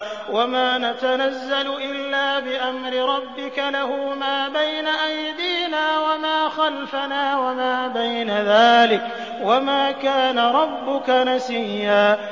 وَمَا نَتَنَزَّلُ إِلَّا بِأَمْرِ رَبِّكَ ۖ لَهُ مَا بَيْنَ أَيْدِينَا وَمَا خَلْفَنَا وَمَا بَيْنَ ذَٰلِكَ ۚ وَمَا كَانَ رَبُّكَ نَسِيًّا